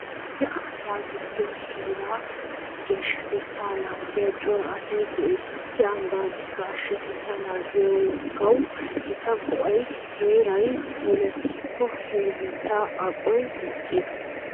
Issi ambbaa giddon heeraa geeshshatettaa naagiya cora asay de'ees. Issi ambbaa geeshshatettaa naagiyoogawu gita go'ay heeray puulattikko, he biittaa aqoy dicciyoogaa.